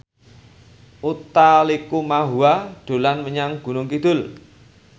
Utha Likumahua dolan menyang Gunung Kidul